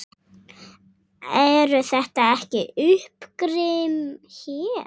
Eru þetta ekki uppgrip hér?